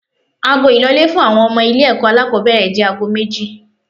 Ago ìlọlé fún àwọn ọmọ ilé ẹ̀kọ́ alákòbẹ̀rẹ̀ jẹ́ aago méjì.